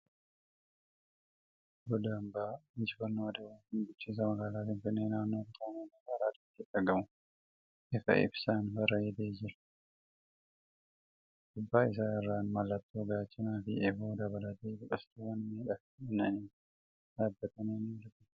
Goda ambaan injifannoo adwaa kan bulchiinsa magaalaa Finfinnee naannoo kutaa magaala Araadaatti argamu ifa ibsaan bareedee jira. Gubbaa isaa irraan mallattoo gaachanaa fi eeboo dabalatee biqiltuuwwan miidhaginaaf dhaabatan ni argamu.